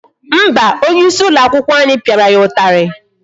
Mba, onye isi ụlọ akwụkwọ anyị pịara ya ụtarị.